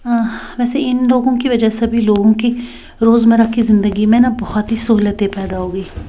आह वैसे इनलोगों की वजह से सभी लोगों की रोजमर्रा की जिंदगी में न बहोत ही सूहलयतें पैदा हो गयी।